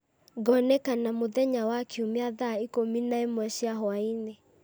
ngonekana mũthenya wa kiumia thaa ikũmi na ĩmwe cia hwaĩ-inĩ